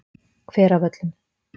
Hveravöllum